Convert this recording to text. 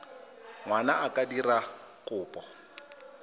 ngwana a ka dira kopo